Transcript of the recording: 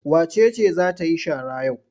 Wace ce za ta yi shara yau?